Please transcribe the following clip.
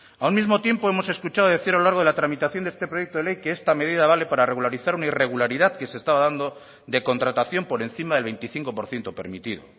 a un mismo tiempo hemos escuchado decir a lo largo de la tramitación de este proyecto de ley que esta medida vale para regularizar una irregularidad que se estaba dando de contratación por encima del veinticinco por ciento permitido